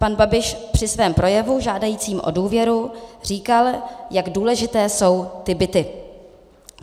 Pan Babiš při svém projevu žádajícím o důvěru říkal, jak důležité jsou ty byty.